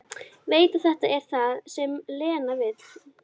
Veit að þetta er það sem Lena vill.